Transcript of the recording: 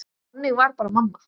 Þannig var bara mamma.